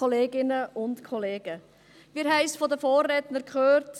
Wir haben es von den Vorrednern gehört.